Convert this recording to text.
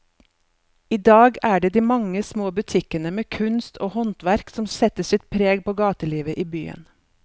I dag er det de mange små butikkene med kunst og håndverk som setter sitt preg på gatelivet i byen.